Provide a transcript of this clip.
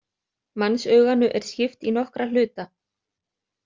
Mannsauganu er skipt í nokkra hluta.